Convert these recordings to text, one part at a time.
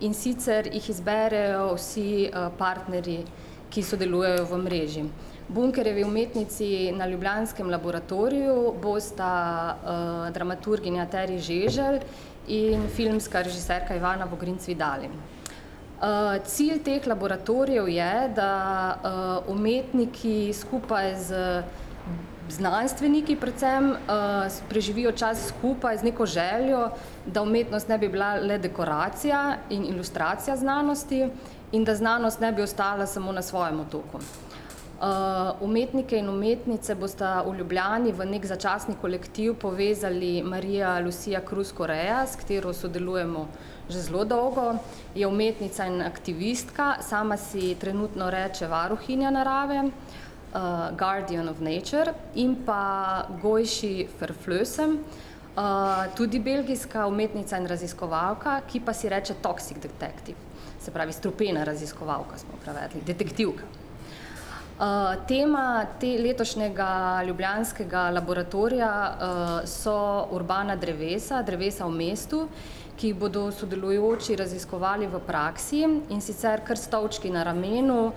in sicer jih izberejo vsi, partnerji, ki sodelujejo v mreži. Bunkerjevi umetnici na ljubljanskem laboratoriju bosta, dramaturginja Tery Žeželj in filmska režiserka Ivana Vogrinc Vidalim. cilj teh laboratorijev je, da, umetniki skupaj z znanstveniki predvsem, preživijo čas skupaj z neko željo, da umetnost ne bi bila le dekoracija in ilustracija znanosti in da znanost ne bi ostala samo na svojem otoku. umetniki in umetnice bosta v Ljubljani v neki začasni kolektiv povezali Marija Lucia Krus Korejas, s katero sodelujmo že zelo dolgo, je umetnica in aktivistka, sama si trenutno reče varuhinja narave, garden of nature, in pa Gojši Verflussen, tudi belgijska umetnica in raziskovalka, ki si reče toxic detective, se pravi strupena raziskovalka smo prevedli, detektivka. tema tega letošnjega ljubljanskega laboratorija, so urbana drevesa, drevesa v mestu, ki jih bodo v sodelujoči raziskovali v praksi, in sicer kar s stolčki na rumeno,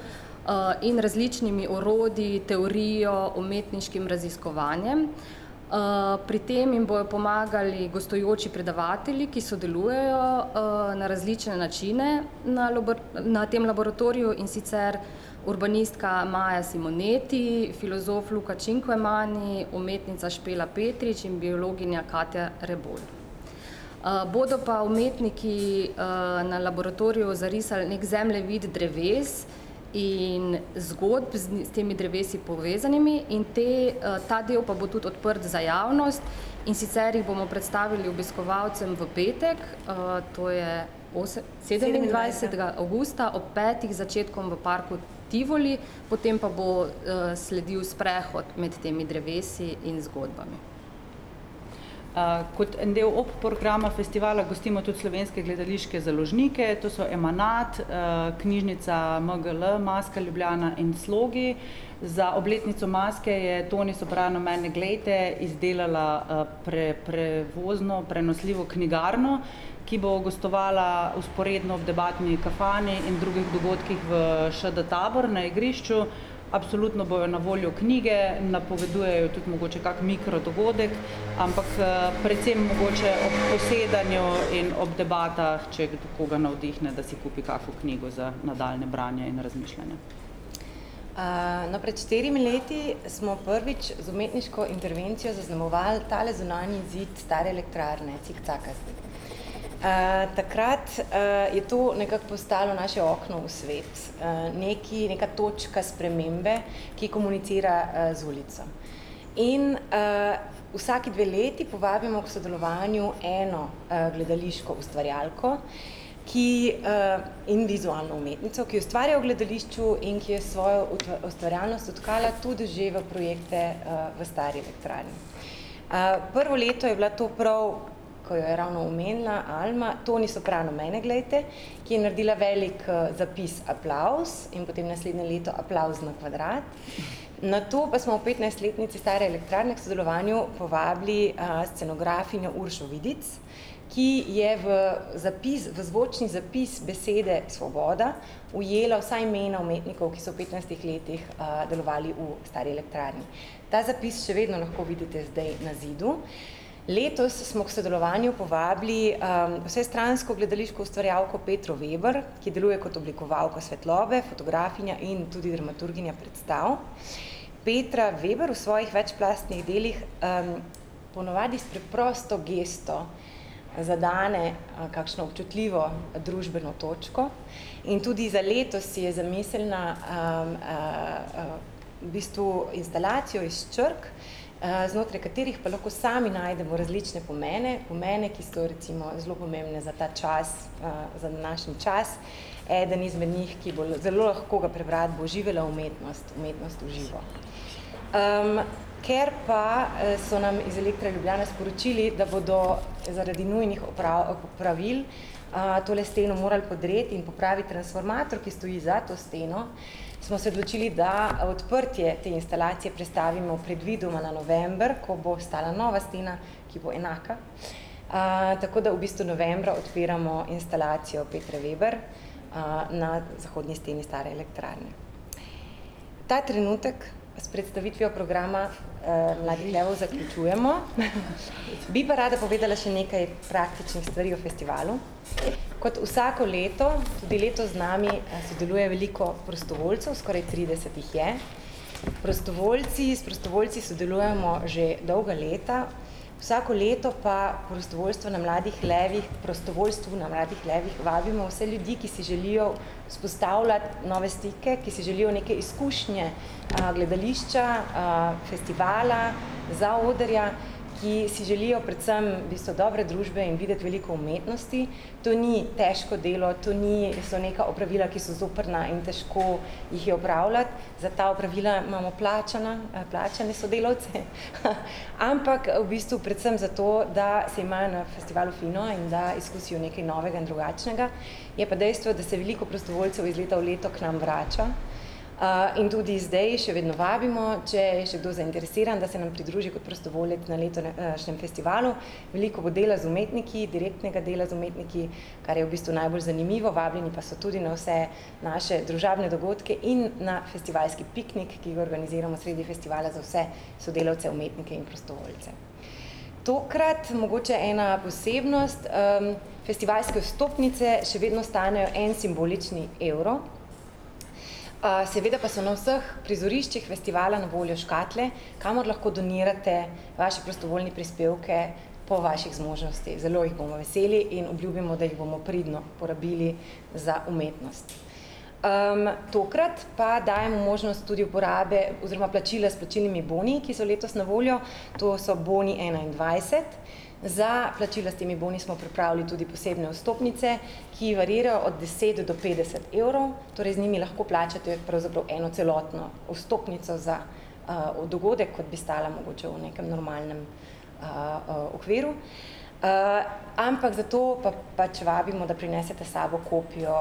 in različnimi orodji, teorijo, umetniškim raziskovanjem. pri tem jim bojo pomagali gostujoči predavatelji, ki sodelujejo, na različne načine na na tem laboratoriju, in sicer urbanistka Maja Simoneti, filozof Luka Činkvemani, umetnica Špela Petrič in biologinja Katja Rebolj. bodo pa umetniki, na laboratoriju zarisali neki zemljevid dreves in zgodb, z, s temi drevesu povezanimi, in te, ta del pa bo tudi odprt za javnost, in sicer jih bomo predstavili obiskovalcem v petek, to je osem-, sedemindvajsetega avgusta ob petih z začetkom v parku Tivoli potem pa bo, sledil sprehod med temi drevesi in zgodbami. kot en del obprograma festivala gostimo tudi slovenske gledališke založnike, to so Emanat, knjižnica MGL, Maske Ljubljana in Slogi. Za obletnico Maske je Toni Sopran Mene glejte izdelala, prevozno prenosljivo knjigarno, ki bo gostovala vzporedno v debatni kafani in drugih dogodkih v ŠD Tabor na igrišču. Absolutno bojo na voljo knjige, napovedujejo tudi mogoče kako mikrodogodek, ampak, predvsem mogoče ob posedanju in ob debatah, če koga navdihne, da si kupi kako knjigo za nadaljnje branje in razmišljanje. no, pred štirimi leti smo prvič z umetniško intervencijo zaznamovali tale zunanji zid Stare elektrarne cikcakast. takrat, je to nekako postalo naše okno v svet, neki, neka točka spremembe, ki komunicira, z ulico. In, vsaki dve leti povabimo k sodelovanju eno, gledališko ustvarjalko, ki, in vizualno umetnico, ki ustvarja v gledališču in ki je s svojo ustvarjalnostjo tkala tudi že projekte, v Stari elektrarni. prvo leto je bila to prav, ko je ravno omenila Alma, Toni Sopran Mene glejte, ki je naredila velik, zapis Aplavz in potem naslednje leto Aplavz na kvadrat. Nato pa smo ob petnajstletnici Stare elektrarne k sodelovanju povabili, scenografinjo Uršo Vidic, ki je v zapis, v zvočni zapis besede svoboda, ujela vsa imena umetnikov, ki so v petnajstih letih, delovali v Stari elektrarni. Ta zapis še vedno lahko vidite zdaj na zidu. Letos smo k sodelovanju povabili, vsestransko gledališko ustvarjalko Petro Veber, ki deluje kot oblikovalka svetlobe, fotografinja in tudi dramaturginja predstav. Petra Veber v svojih večplastnih delih ponavadi s preprosto gesto zadane, kakšno občutljivo družbeno točko in tudi za letos si je zamislila, v bistvu instalacijo iz črk, znotraj katerih pa lahko sami najdemo različne pomene, pomene, ki so recimo zelo pomembni za ta čas, za današnji čas, eden izmed njih, ki bo zelo lahko ga prebrati, bo živela umetnost, umetnost v živo. ker pa, so nam iz Elektra Ljubljana sporočili, da bodo zaradi nujnih opravil, tole steno moral podreti in popraviti transformator, ki stoji za to steno, smo se odločili, da odprtje te instalacije prestavimo predvidoma na november, ko bo stala nova stena, ki bo enaka. tako da v bistvu novembra odpiramo instalacijo Petre Veber. na zahodni steni Stare elektrarne. Ta trenutek s predstavitvijo programa, zaključujemo , bi pa rada povedala še nekaj praktičnih stvari o festivalu. Kot vsako leto tudi letos z nami, sodeluje veliko prostovoljcev, skoraj trideset jih je. Prostovoljci, s prostovoljci sodelujemo že dolga leta. Vsako leto pa prostovoljstvo na Mladih levih, k prostovoljstvu na Mladih levih vabimo vse ljudi, ki si želijo vzpostavljati nove stike, ki si želijo neke izkušnje, gledališča, festivala, zaodrja, ki si želijo predvsem v bistvu dobre družbe in videti veliko umetnosti. To ni težko delo, to ni, so neka opravila, ki so zoprna in težko jih je opravljati, za ta opravila imamo plačana, plačane sodelavce. Ampak v bistvu predvsem zato, da se imajo na festivalu fino in da izkusijo nekaj novega in drugačnega. Je pa dejstvo, da se veliko prostovoljcev iz leta v leto k nam vrača, in tudi zdaj še vedno vabimo, če je še kdo zainteresiran, da se nam pridruži kot prostovoljec na letošnjem festivalu. Veliko bo dela z umetniki, direktnega dela z umetniki, kar je v bistvu najbolj zanimivo, vabljeni pa ste tudi na vse naše družabne dogodke in na festivalski piknik, ki ga organiziramo sredi festivala za vse sodelavce, umetnike in prostovoljce. Tokrat mogoče ena posebnost, festivalske vstopnice še vedno stanejo en simbolični evro. seveda pa so na vseh prizoriščih festivala na voljo škatle, kamor lahko donirate vaše prostovoljne prispevke po vaših zmožnostih, zelo jih bomo veseli in obljubimo, da jih bomo pridno porabili za umetnost. tokrat pa dajemo možnost tudi uporabe oziroma plačila s plačilnimi boni, ki so letos na voljo, to so boni enaindvajset. Za plačilo s temi boni smo pripravili tudi posebne vstopnice, ki variirajo od deset do petdeset evrov. Torej z njimi lahko plačate pravzaprav eno celotno vstopnico za, dogodek, kot bi stala mogoče v nekem normalnem, okviru, ampak zato pa pač vabimo, da prinesete s sabo kopijo,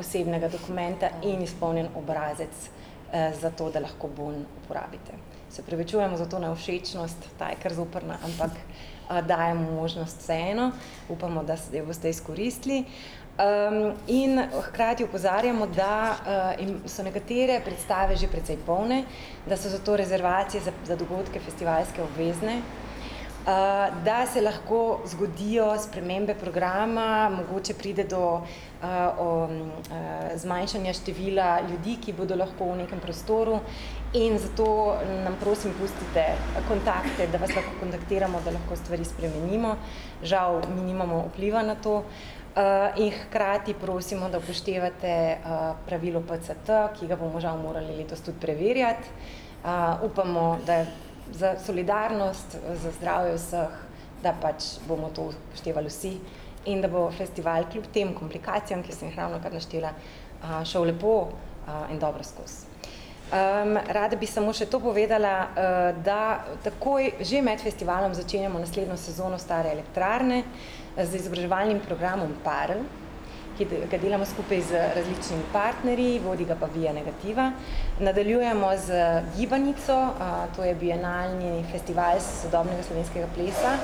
osebnega dokumenta in izpolnjen obrazec, zato, da lahko bon uporabite. Se opravičujmo za to nevšečnost, ta je kar zoprna, ampak, dajmo možnost vseeno. Upamo, da jo boste izkoristili. in hkrati opozarjamo, da, so nekatere predstave že precej polne, da so zato rezervacije za dogodke festivalske obvezne, da se lahko zgodijo spremembe programa, mogoče pride do, zmanjšanja števila ljudi, ki bodo lahko v nekem prostoru, in zato nam prosim pustite kontakte, da vas lahko kontaktiramo, da lahko stvari spremenimo. Žal mi nimamo vpliva na to, in hkrati prosimo, da upoštevate, pravilo PCT, ki ga bomo žal morali letos tudi preverjati. upamo, da za solidarnost, za zdravje vseh, da pač bomo to upoštevali vsi in da bo festival kljub tem komplikacijam, ki sem jih ravnokar naštela, šel lepo, in dobro skozi. rada bi samo še to povedala, da takoj že med festivalom začenjamo naslednjo sezono Stare elektrarne z izobraževalnim programom Barn, ki ga delamo skupaj z različnimi partnerji, vodi ga pa Via negativa. Nadaljujemo z gibanico, to je bienalni festival sodobnega slovenskega plesa.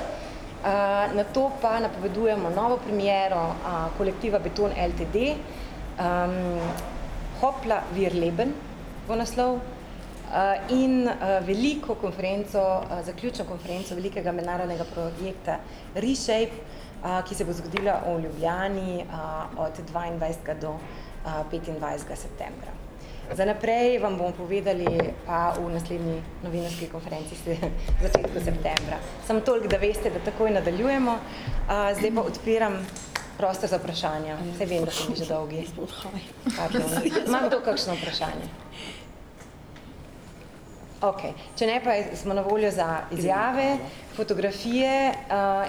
nato pa napovedujemo novo premiero, kolektiva Beton Ltd., Hopla wir leben, bo naslov, in, veliko konferenco zaključno, konference velikega mednarodnega projekta Reshape, ki se bo zgodila v Ljubljani, od dvaindvajsetega do petindvajsetega septembra. Za naprej vam bomo povedali pa v naslednji novinarski konferenci v začetku septembra. Samo toliko, da veste, da takoj nadaljujemo, zdaj pa odpiram prostor za vprašanja, saj vem, da smo bili že dolgi. Okej, ima kdo kakšno vprašanje? Okej, če ne, pa smo na voljo za izjave, fotografije,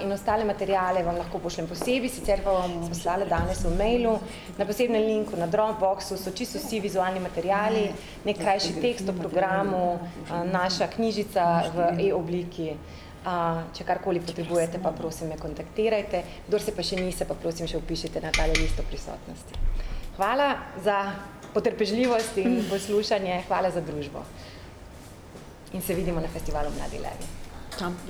in ostale materiale vam lahko pošljem posebej, sicer pa vam lahko poslala danes v mailu na posebnem linku na Dropboxu so čisto vsi vizualni materiali, neki krajši tekst o programu, naša knjižica v e-obliki, če karkoli potrebujete, pa prosim, me kontaktirajte. Kdor se pa še ni, se pa, prosim, še vpišite na tole listo prisotnosti. Hvala za potrpežljivost in poslušanje, hvala za družbo in se vidimo na festivalu Mladi levi.